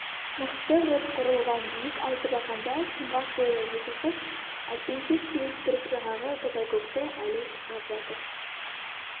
мықты ғып құрылған биік алтыбақанда сұңғақ бойлы екі қыз әлпеншек теуіп тұрып жаңағы топайкөкті әлі шырқап жатыр